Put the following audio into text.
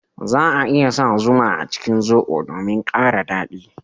za a iya sa zuma a cikin zobo domin kara dadi